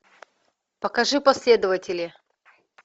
покажи последователи